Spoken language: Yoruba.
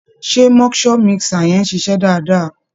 Ṣé moisture mixer yẹn ń ṣiṣẹ́ dáadáa?